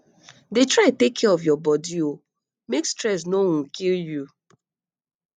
dey try take care of your body um make stress no um kill you